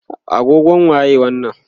agogon waye wannan?